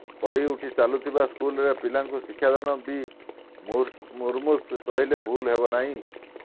ପଡ଼ି ଉଠି ଚାଲୁଥିବା ସ୍କୁଲରେ ପିଲାଙ୍କୁ ଶିକ୍ଷାଦାନ ବି ମୁମୂର୍ଷୁ କହିଲେ ଭୁଲ ହେବ ନାହିଁ